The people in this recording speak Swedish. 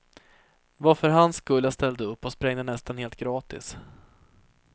Det var för hans skull jag ställde upp och sprängde nästan helt gratis.